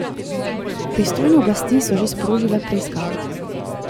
Pristojne oblasti so že sprožile preiskavo.